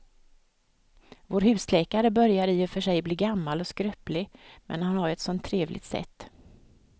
Vår husläkare börjar i och för sig bli gammal och skröplig, men han har ju ett sådant trevligt sätt!